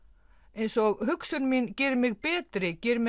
eins og hugsun mín geri mig betri geri mig